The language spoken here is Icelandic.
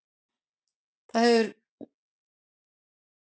Það hefur verið mikið notað til að meðhöndla sjúklinga sem hafa fengið hjartaslag.